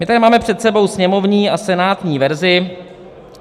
My tady máme před sebou sněmovní a senátní verzi.